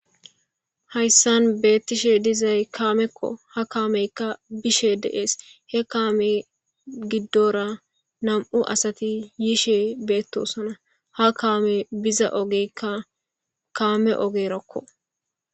Haysan betishe dizay kameko ha kameyka bishe des he kame gidora nam'u asati yishe betosona ha kame biza ogeka kame ogerakko.